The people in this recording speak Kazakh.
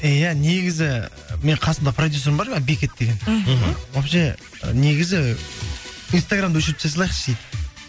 иә негізі менің қасымда продюсерім бар бекет деген мхм вообще негізі инстаграмды өшіріп тастай салайықшы дейді